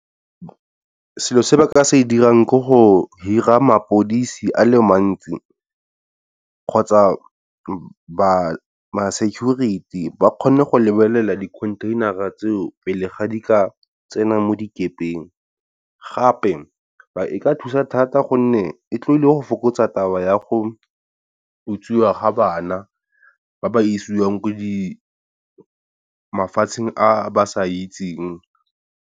Selo se ba ka se e dira ke go hira mapodisi a le mantsi kgotsa ma security ba kgone go lebelela dikhontheinara tseo, pele ga di ka tsena mo dikepeng. Gape e ka thusa thata gonne e tlile go fokotsa taba ya go utswiwa ga bana ba ba isiwang ko mafatsheng a ba sa itseng.